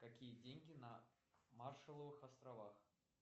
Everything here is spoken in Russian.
какие деньги на маршалловых островах